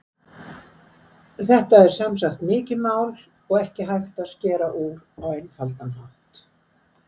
Þetta er sem sagt mikið mál og ekki hægt að skera úr á einfaldan hátt.